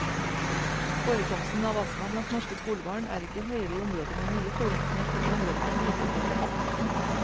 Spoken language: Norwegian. Forekomsten av astma blant norske skolebarn er ikke høyere i områder med mye forurensning enn i områder med lite forurensning.